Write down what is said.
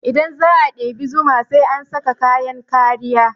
Idan za a ɗebi zuma sai an saka kayan kariya